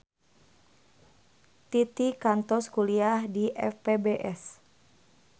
Titi kantos kuliah di FPBS